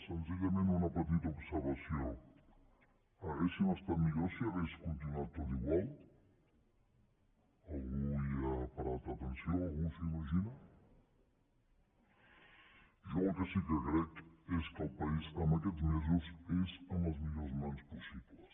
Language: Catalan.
senzillament una petita observació hauríem estat millor si hagués continuat tot igual algú hi ha parat atenció algú s’ho imagina jo el que sí que crec és que el país en aquests mesos és en les millors mans possibles